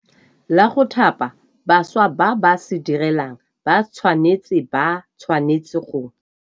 La go Thapa, bašwa ba ba se direlang ba tshwanetse ba tshwanetse go.